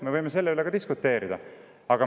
Me võime selle üle diskuteerida.